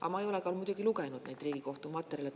Aga ma ei ole muidugi lugenud neid Riigikohtu materjale.